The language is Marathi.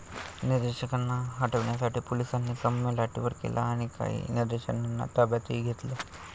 निदर्शकांना हटवण्यासाठी पोलिसांनी सौम्य लाठीमार केला आणि काही निदर्शकांना ताब्यातही घेतलं.